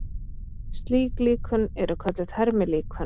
Slík líkön eru kölluð hermilíkön.